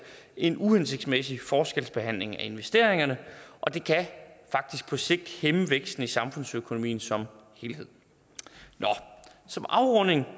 en uhensigtsmæssig foreskelsbehandling af investeringerne og det kan faktisk på sigt hæmme væksten i samfundsøkonomien som helhed nå som afrunding